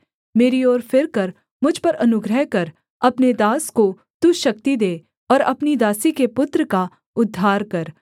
मेरी ओर फिरकर मुझ पर अनुग्रह कर अपने दास को तू शक्ति दे और अपनी दासी के पुत्र का उद्धार कर